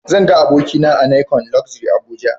Zan ga abokina a nicon luxury Abuja